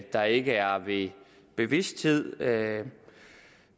der ikke er ved bevidsthed